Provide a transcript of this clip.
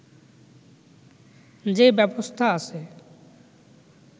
যে ব্যবস্থা আছে